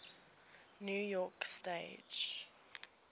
new york stage